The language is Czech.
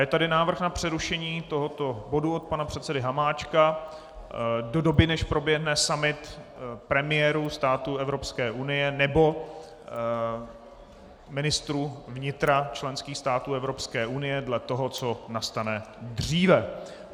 Je tu návrh na přerušení tohoto bodu od pana předsedy Hamáčka do doby, než proběhne summit premiérů států Evropské unie nebo ministrů vnitra členských států Evropské unie, dle toho, co nastane dříve.